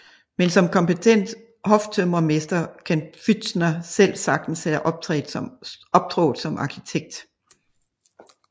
Men som kompetent hoftømrermester kan Pfützner selv sagtens have optrådt som arkitekt